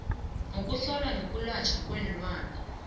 yokuhlolwa yokwelatjhwa kweenlwana